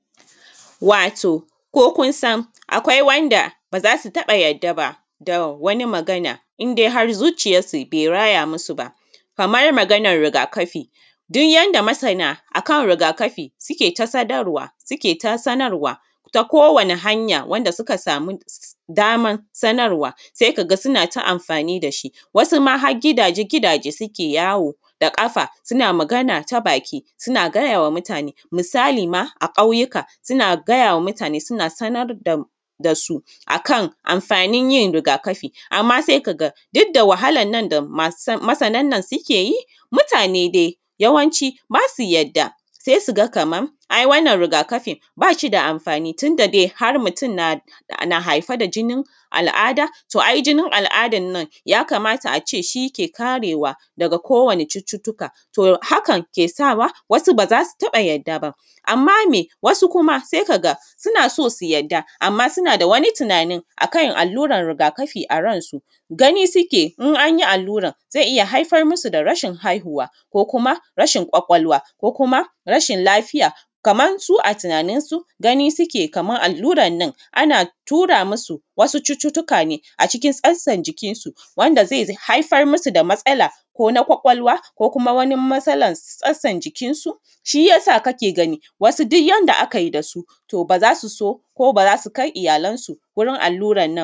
Wato ko kun san akwai waɗanda ba za su taɓa yarda ba da wani magana in dai zuciyarsu bai raya musu ba, kamar maganar riga kafi. Duk yadda masa akan riga kafi suke ta sanarwa ta kowanne hanya suka sama damar sanarwa sai ka ga suna ta amfani da shi wasu ma har gidaje-gadaje suke amfani da shi suna magana ta baki suna gaya ma mutane a ƙauyuka suna sanar da su akan amfanin yin riga kafi. Duk da wahalar nan da masanan suke yi, yawanci ba su yarda sai su ga kamar ai wannan riga kafin ba shi da amfani tunda dai har mutum na haife da jinin al'ada. To ai jinin al'adan nan a ce yake karewa daga kowanne cututtuka hakan wasu ke sa wa ba za su taɓa yarda ba. Amma me wasu suna so su yarda, amma suna da wani tunani akan allurar riga kafin gani suke in an yi allurar zai iya haifar musu da rashin haihuwa ko zai iya haifar musu da rashin kwakwalwa ko rashin lafiya kamar su a tunaninsu gani suke allurar nan ana tura musu wasu cututtuka ne a cikin tsatson jikinsu haifar musu da matsala ko na kwakwalwa. Kuma wani matsalar jikinsu. Shi ya sa kake gani wasu duk yadda ake gani duk yadda a kai da su to ba za so ko ba za su kai iyalansu allurar nan